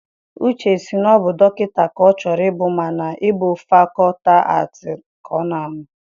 Uche sị na ọ bụ dọkịta ka ọ chọrọ ịbụ mana ọ bụ na fakọlti aatị ka ọ nọ.